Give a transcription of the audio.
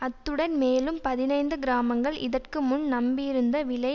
அத்துடன் மேலும் பதினைந்து கிராமங்கள் இதற்கு முன் நம்பியிருந்த விளை